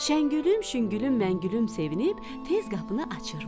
Şəngülüm, şüngülüm, məngülüm sevinib, tez qapını açırmış.